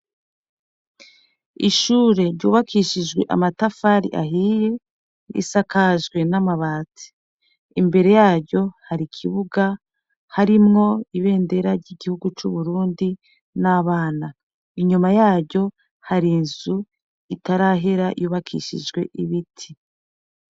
Ishure ryubakishijwe amatafari ahiye risakajwe n'amabatsi imbere yaryo hari ikibuga harimwo ibendera ry'igihugu c'uburundi n'abana inyuma yaryo hari inzu itarahera yubakishijwe ibiti.